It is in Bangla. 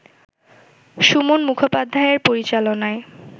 সুমন মুখোপাধ্যায়ের পরিচালনায়